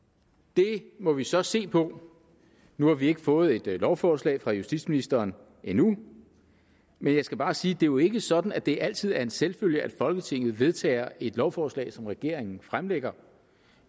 det må vi så se på nu har vi ikke fået et lovforslag fra justitsministeren endnu men jeg skal bare sige at det jo ikke er sådan at det altid er en selvfølge at folketinget vedtager et lovforslag som regeringen fremsætter